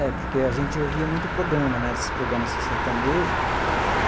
É, porque a gente ouvia muito programa né, esses programas assim sertanejo.